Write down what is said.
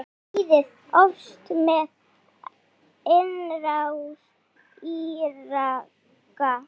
Stríðið hófst með innrás Íraka.